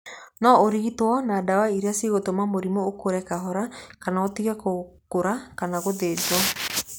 No ũrigitwo na ndawa iria cigũtũma mũrimũ ũkũre kahora kana ũtige gũkũra kana gũthĩnjwo.